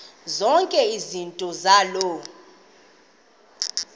zonke izinto zaloo